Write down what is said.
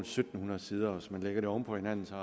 syv hundrede sider og hvis man lægger dem oven på hinanden er